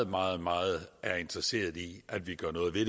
meget meget interesseret i at vi gør noget ved